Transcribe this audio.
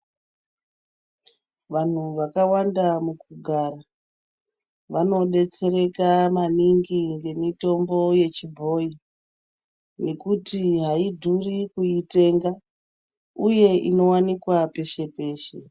Vantu vakawanda mukugara, vanodetsereka maningi ngemitombo yechibhoyi, ngekuti haidhuri kuitenga, uye inowanikwa peshe peshe.